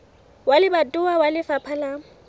wa lebatowa wa lefapha la